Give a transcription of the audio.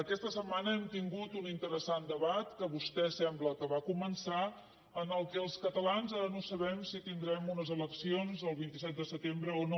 aquesta setmana hem tingut un interessant debat que vostè sembla que va començar en el qual els catalans ara no sabem si tindrem unes eleccions el vint set de setembre o no